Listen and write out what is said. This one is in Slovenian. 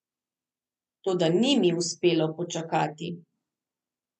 Toda ni mi uspelo počakati.